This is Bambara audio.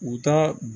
U ka